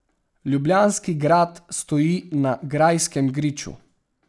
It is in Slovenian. Ljubljanski grad stoji na Grajskem griču.